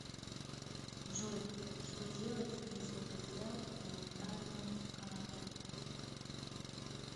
джой что делать если потерял моментальную карту